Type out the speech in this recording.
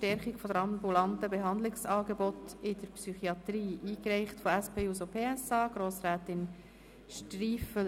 Stärkung der ambulanten Behandlungsangebote in der Psychiatrie», eingereicht von der SP-JUSOPSA-Fraktion und Grossrätin Striffeler.